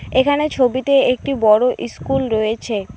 এখানে ছবিতে একটি বড় ইস্কুল রয়েছে।